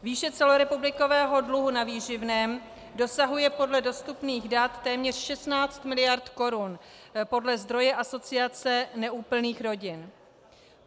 Výše celorepublikového dluhu na výživném dosahuje podle dostupných dat téměř 16 mld. korun podle zdroje Asociace neúplných rodin.